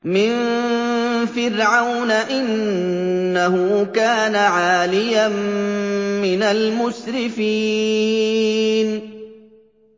مِن فِرْعَوْنَ ۚ إِنَّهُ كَانَ عَالِيًا مِّنَ الْمُسْرِفِينَ